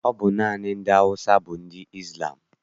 Ọ bụ naanị ndị Awụsa bụ ndị Izlam?